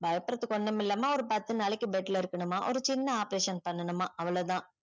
பயபுட்றதுக்கு ஒன்னும் இல்லம்மா ஒரு பத்து நாளைக்கு bed ல இருக்கனும்மா ஒரு சின்ன operation பண்ணனும்மா அவ்ளோதான்